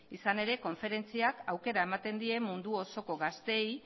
izan ere konferentziak aukera ematen die mundu osoko gazteei